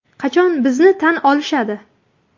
Qachon bizni tan olishadi?